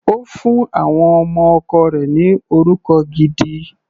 Ó fún àwọn ọmọ ọkọ rẹ̀ ni orúkọ gidi.